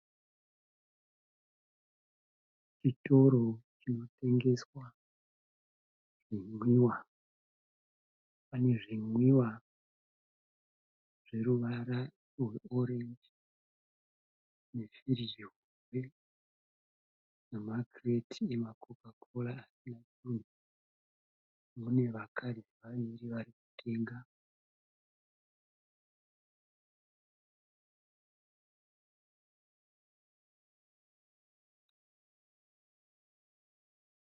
Chitoro chinotengeswa zvinwiwa, pane zvinwiwa zveruvara rweorenji nefiriji hombe nemakireti ema kokakora asina chinhu mune vakadzi vaviri vari kutenga.